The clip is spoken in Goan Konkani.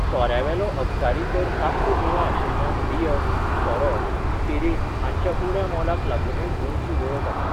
सोऱ्यावेलो अबकारी कर साप्प उणो आशिल्ल्यान बियर, सोरो, स्पिरीट हांच्या उण्या मोलाक लागूनय गोंयची वळख आसा.